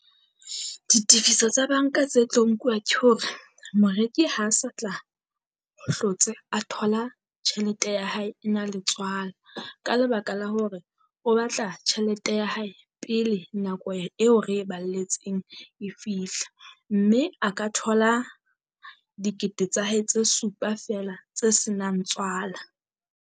Ditefiso tsa banka tse tlo nkuwa ke hore moreki ha sa tla hlotse a thola tjhelete ya hae e na le tswala. Ka lebaka la hore o batla tjhelete ya hae pele nako eo re e balletsweng e fihla, mme a ka thola dikete tsa hae tse supa feela tse senang tswala.